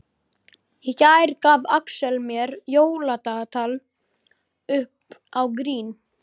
Í gær gaf Axel mér jóladagatal upp á grín.